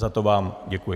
Za to vám děkuji.